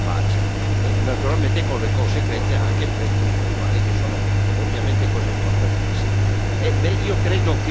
alla tregua e alla pace, naturalmente con le conseguenze anche per i diritti umani che sono ovviamente una cosa importantissima.